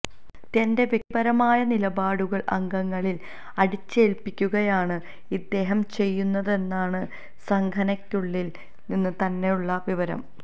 തന്റെ വ്യക്തിപരമായ നിലപാടുകള് അംഗങ്ങളില് അടിച്ചേല്പ്പിക്കുകയാണ് ഇദ്ദേഹം ചെയ്യുന്നതെന്നാണ് സംഘനയ്ക്കുളളില് നിന്ന് തന്നെയുള്ള വിവരം